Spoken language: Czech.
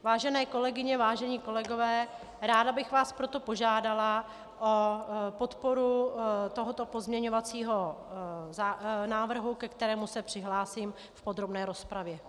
Vážené kolegyně, vážení kolegové, ráda bych vás proto požádala o podporu tohoto pozměňovacího návrhu, ke kterému se přihlásím v podrobné rozpravě.